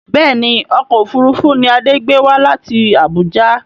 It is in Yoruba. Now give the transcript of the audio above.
Bẹ́ẹ̀ni ọkọ̀ òfuurufú ni Adé gbé wá láti Abuja